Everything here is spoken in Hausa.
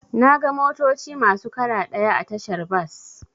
Naga motoci masu kala ɗaya a tashar bas.